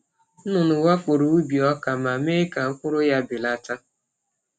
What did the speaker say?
Nnụnụ wakporo ubi ọka ma mee ka mkpụrụ ya belata.